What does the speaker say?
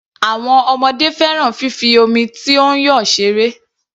Àwọn ọmọdé fẹ́ràn fífi omi tó ń yọ ṣeré.